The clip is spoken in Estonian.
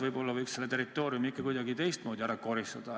Võib-olla saaks selle territooriumi ikka kuidagi teistmoodi ära koristada.